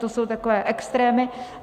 To jsou takové extrémy.